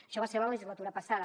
això va ser la legislatura passada